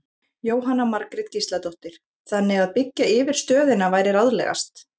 Jóhanna Margrét Gísladóttir: Þannig að byggja yfir stöðina væri ráðlegast?